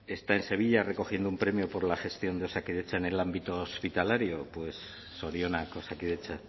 está en sevilla recogiendo un premio por la gestión de osakidetza en el ámbito hospitalario pues zorionak osakidetza